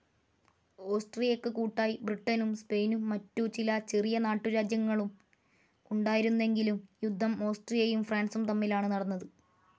ഓസ്ട്രിയക്ക് കൂട്ടായി ബ്രിട്ടനും സ്പെയിനും മറ്റു ചില ചെറിയ നാട്ടുരാജ്യങ്ങളും ഉണ്ടായിരുന്നെങ്കിലും യുദ്ധം ഓസ്ട്രിയയും ഫ്രാൻസും തമ്മിലാണ് നടന്നത്.